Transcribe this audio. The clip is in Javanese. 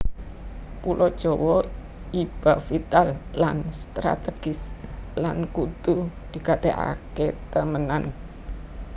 Pulo Jawa iba vital lan strategis lan kudu digatèkaké temenan